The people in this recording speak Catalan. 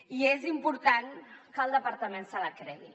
i és important que el departament se la cregui